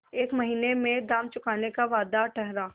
एक महीने में दाम चुकाने का वादा ठहरा